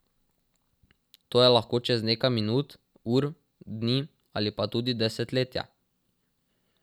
To je lahko čez nekaj minut, ur, dni ali pa tudi desetletje.